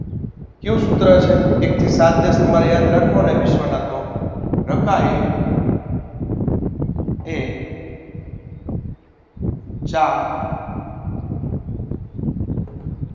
ક્યુ સૂત્ર છે. એક થી સાત દેશ તમારે યાદ રાખો ને તમે વિશ્વના તો રકાય થે ચા